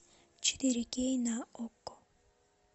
четыре кей на окко